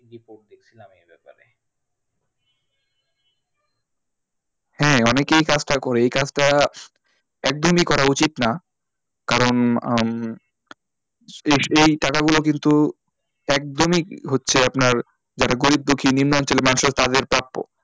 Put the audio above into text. হ্যাঁ অনেকেই এই কাজটা করে এই কাজটা একদমই করা উচিত না কারণ আহ এই টাকাগুলো কিন্তু একদমই হচ্ছে আপনার যারা গরিব দুঃখী নিন্ম অঞ্চলের মানুষের তাদের প্রাপ্য।